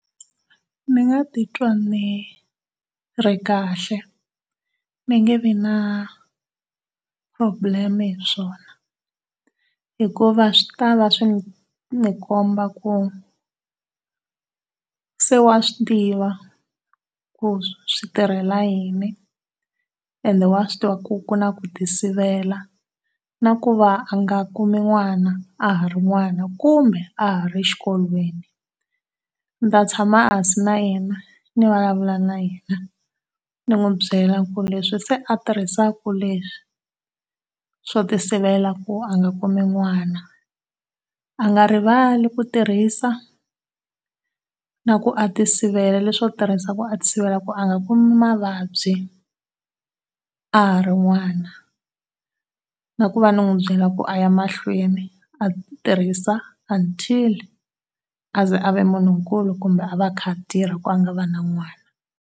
Ni nga ti twa ni ri kahle ni nge vi na problem hi swona hikuva swi ta va swi ni komba ku se wa swi tiva ku switirhela yini ene wa swi tiva ku kuna ku ti sivela na ku va a nga kumi n'wana a ha ri n'wana kumbe a ha ri xikolweni. Ni ta tshama hansis na yena, ni vulavula na yena, ni n'wi byela ku leswi se a tirhisaka leswi, swo ti sivela ku a nga kumi n'wana, a nga rivali ku tirhisa na ku a ti sivela leswo tirhisa ku a ti sivela ku a nga kumi mavabyi a ha ri n'wana. Nakuva ni n'wi byela ku aya mahlweni a tirhisa until a ze a va munhu nkulu kumbe a va a kha a tirha ku a nga va na n'wana.